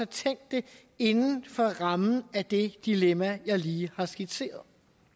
tænkt det inden for rammen af det dilemma jeg lige har skitseret